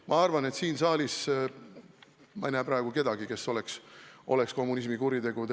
Ma arvan, et siin saalis ei ole praegu kedagi, kes õigustaks kommunismi kuritegusid.